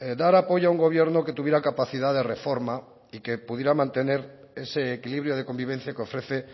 dar apoyo a un gobierno que tuviera capacidad de reforma y que pudiera mantener ese equilibrio de convivencia que ofrece